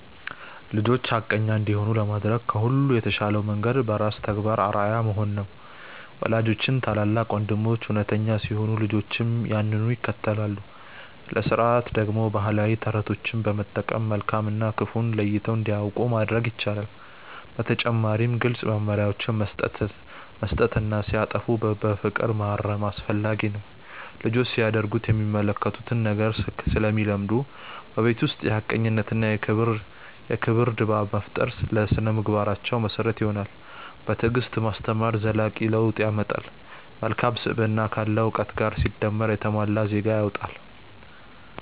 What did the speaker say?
ልጆች ሐቀኛ እንዲሆኑ ለማድረግ ከሁሉ የተሻለው መንገድ በራስ ተግባር አርአያ መሆን ነው። ወላጆችና ታላላቅ ወንድሞች እውነተኛ ሲሆኑ ልጆችም ያንኑ ይከተላሉ። ለሥርዓት ደግሞ ባህላዊ ተረቶችን በመጠቀም መልካም እና ክፉን ለይተው እንዲያውቁ ማድረግ ይቻላል። በተጨማሪም ግልጽ መመሪያዎችን መስጠትና ሲያጠፉ በፍቅር ማረም አስፈላጊ ነው። ልጆች ሲያደርጉት የሚመለከቱትን ነገር ስለሚለምዱ፣ በቤት ውስጥ የሐቀኝነትና የክብር ድባብ መፍጠር ለሥነ-ምግባራቸው መሰረት ይሆናል። በትዕግስት ማስተማር ዘላቂ ለውጥ ያመጣል። መልካም ስብዕና ካለ እውቀት ጋር ሲደመር የተሟላ ዜጋ ይወጣል።